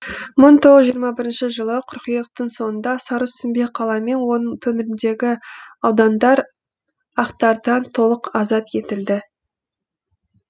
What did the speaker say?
мың тоғыз жүз жиырма бірінші жылы қыркүйектің соңында сарысүмбе қала мен оның төңірегіндегі аудандар ақтардан толық азат етілді